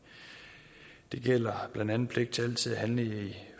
det gælder blandt andet pligt til altid at handle i